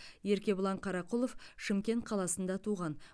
еркебұлан қарақұлов шымкент қаласында туған